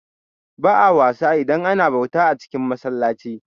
Ba'a wasa idan ana bauta a cin masallaci